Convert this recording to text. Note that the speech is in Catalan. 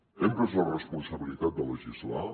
hem pres la responsabilitat de legislar